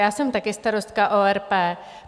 Já jsem také starostka ORP.